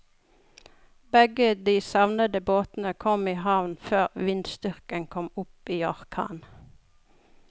Begge de savnede båtene kom i havn før vindstyrken kom opp i orkan.